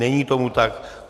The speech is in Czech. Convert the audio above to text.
Není tomu tak.